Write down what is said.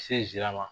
Se jilama